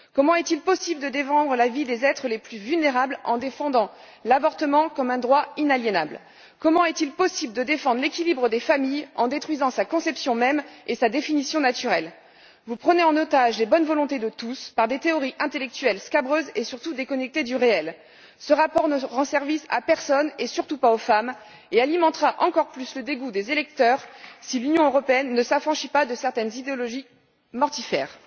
Comment est il possible de défendre la vie des êtres les plus vulnérables en défendant l'avortement comme un droit inaliénable? Comment est il possible de défendre l'équilibre de la famille en détruisant sa conception même et sa définition naturelle? Vous prenez en otage les bonnes volontés de tous par le biais de théories intellectuelles scabreuses et, surtout, déconnectées du réel. Ce rapport ne rend service à personne, surtout pas aux femmes, et il alimentera encore plus le dégoût des électeurs si l'Union européenne ne s'affranchit pas de certaines idéologies mortifères.